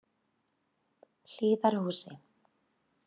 Hlíðarhúsi